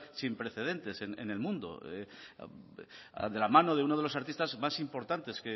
sin precedentes en el mundo de la mano de uno de los artistas más importantes